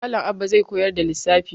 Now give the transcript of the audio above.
Malam Abba zai koyar da lissafi.